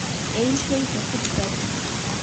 eishoi tesipitali